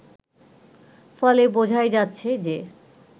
ফলে বোঝাই যাচ্ছে যে